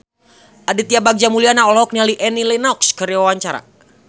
Aditya Bagja Mulyana olohok ningali Annie Lenox keur diwawancara